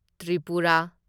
Tripura